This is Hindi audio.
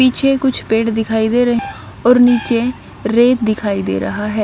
पीछे कुछ पेड़ दिखाई दे रहे और नीचे रेत दिखाई दे रहा है।